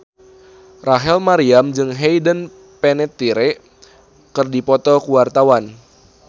Rachel Maryam jeung Hayden Panettiere keur dipoto ku wartawan